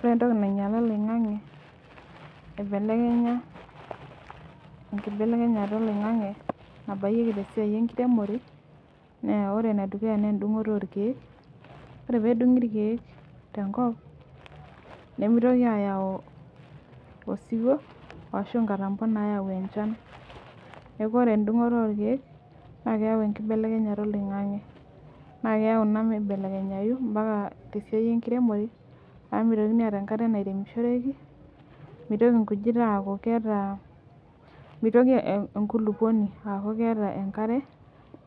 Orentoki nainyala oloing'ang'e aibelekenya enkibelekenyata oloing'ang'e nabayieki tesiai enkiremore naa ore enedukuya neendung'oto orkeek. Ore peedung'i irkeek tenkop nemeitoki ayau osiwo ashu nkatambo nayau enchan. Neaku ore endung'oto orkeek naakeyau enkibelekenyata oloing'ang'e naakeyau naa meibelekenyayu mpaka tesiai enkiremore amu meitokini aata enkata nairemishoreki, meitoki nkujit aaku ketaa, meitoki enkulukuoni aaku keeta enkare